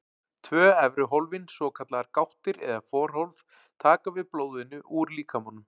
Tvö efri hólfin, svokallaðar gáttir eða forhólf, taka við blóðinu úr líkamanum.